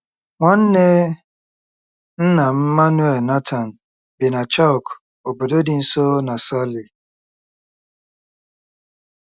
Nwanne nna m, Manuel Nathan, bi na Chauk, obodo dị nso na Sale.